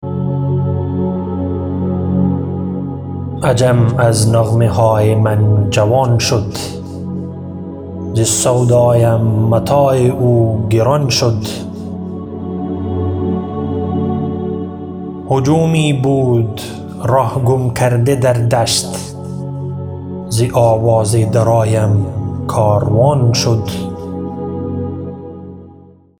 عجم از نغمه های من جوان شد ز سودایم متاع او گران شد هجومی بود ره گم کرده در دشت ز آواز درایم کاروان شد